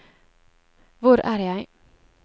hvor er jeg